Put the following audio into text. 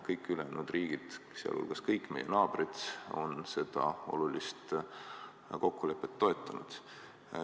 Kõik ülejäänud riigid, sealhulgas kõik meie naabrid, on seda olulist kokkulepet toetanud.